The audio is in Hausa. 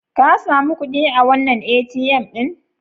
Ka sami kuɗi a wannan ATM ɗin?